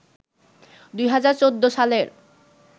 ২০১৪ সালের